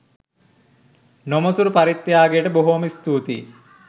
නොමසුරු පරිත්‍යාගයට බොහොම ස්තූතියි